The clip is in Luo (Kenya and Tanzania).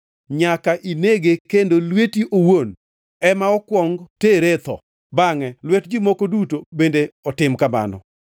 Nyaka inege kendo lweti owuon ema okuong tere e tho. Bangʼe lwet ji moko duto bende otim kamano.